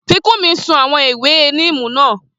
Fikunmi sun àwọn ewé níìmù náà